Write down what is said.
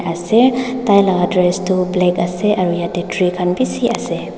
ase tailaka dress tu black ase aru yatey tree khan bisi ase.